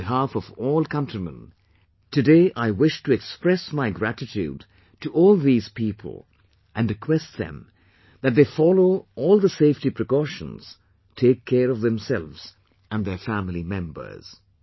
On behalf of all countrymen, today I wish to express my gratitude to all these people, and request them, that they follow all the safety precautions, take care of themselves and their family members